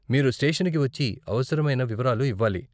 మీరు స్టేషన్ కి వచ్చి అవసరమైన వివరాలు ఇవ్వాలి.